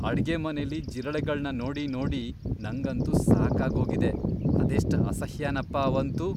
ಅಡ್ಗೆಮನೆಲಿ ಜಿರಳೆಗಳ್ನ ನೋಡಿ ನೋಡಿ ನಂಗಂತೂ ಸಾಕಾಗ್ ಹೋಗಿದೆ..ಅದೆಷ್ಟ್ ಅಸಹ್ಯನಪ ಅವಂತೂ.